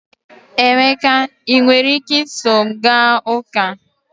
Emeka, ị nwere ike iso m gaa ụka?